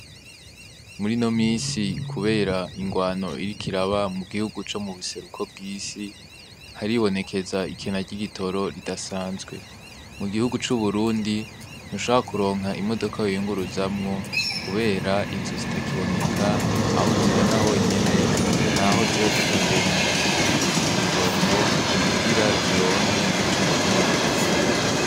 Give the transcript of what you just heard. Muri no misi, kubera ingwano irikiraba mu gihugu co mu buseruko bw'isi haribonekeza ikena ry'igitoro ridasanzwe mu gihugu c'uburundi ntusha kuronka imodoka yiyunguruzamwo, kubera izo zitakiboneka aho uzibona honyene, naho ziba zitondeye umuwe umurongo kugira dironke ico gitoro.